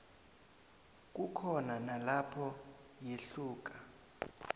kukhona nalapho yehluka